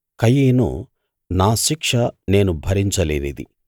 కయీను నా శిక్ష నేను భరించలేనిది